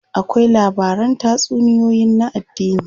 Akwai labaran tatsuniyoyin na addini.